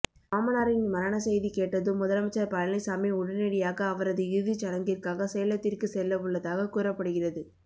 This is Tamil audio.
மாமனாரின் மரண செய்தி கேட்டதும் முதலமைச்சர் பழனிசாமி உடனடியாக அவரது இறுதிச் சடங்கிற்காக சேலத்திற்கு செல்ல உள்ளதாக கூறப்படுகிறது